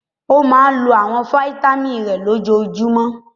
Ó máa ń lo àwọn fataímìn rẹ̀ lójoojúmọ́?